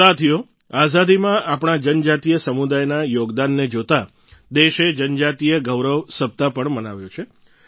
સાથીઓ આઝાદીમાં આપણા જનજાતીય સમુદાયના યોગદાનને જોતાં દેશે જનજાતીય ગૌરવ સપ્તાહ પણ મનાવ્યો છે